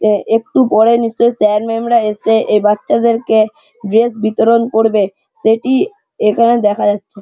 একটু পরে নিশ্চয়ই স্যার ম্যাম -র রয়েছে এই বাচ্চাদেরকে ড্রেস বিতরণ করবে সেটি এখানে দেখা যাচ্ছে।